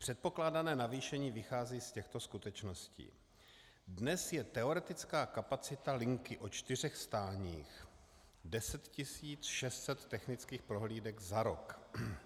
Předpokládané navýšení vychází z těchto skutečností: Dnes je teoretická kapacita linky o čtyřech stáních 10 600 technických prohlídek za rok.